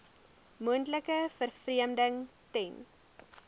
moontlike vervreemding ten